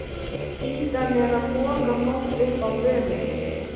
Ýtan er að moka mold upp á vörubíl.